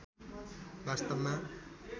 वास्‍तवमा